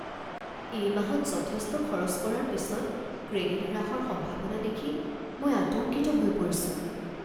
এই মাহত যথেষ্ট খৰচ কৰাৰ পিছত ক্ৰেডিট হ্ৰাসৰ সম্ভাৱনা দেখি মই আতংকিত হৈ পৰিছোঁ।